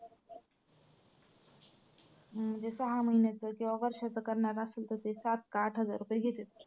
म्हणजे सहा महिन्याचं किंवा वर्षाचं करणार असेल तर ते सात का आठ हजार रुपये घेत्त.